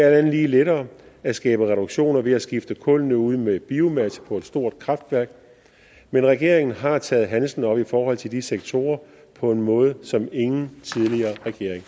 andet lige lettere at skabe reduktioner ved at skifte kullene ud med biomasse på et stort kraftværk men regeringen har taget handsken op i forhold til de sektorer på en måde som ingen tidligere regering